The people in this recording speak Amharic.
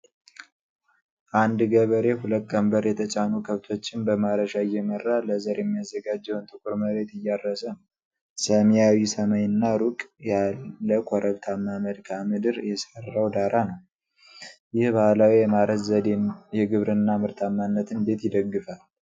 አንድ ገበሬ ሁለት ቀንበር የተጫኑ ከብቶችን በማረሻ እየመራ ለዘር የሚያዘጋጀውን ጥቁር መሬት እያረሰ ነው። ሰማያዊ ሰማይ እና ሩቅ ያለ ኮረብታማ መልክዓ ምድር የሥራው ዳራ ነው። ይህ ባህላዊ የማረስ ዘዴ የግብርና ምርታማነትን እንዴት ይደግፋል?